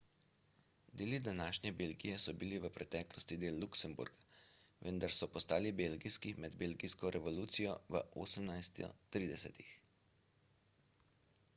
deli današnje belgije so bili v preteklosti del luksemburga vendar so postali belgijski med belgijsko revolucijo v 1830-ih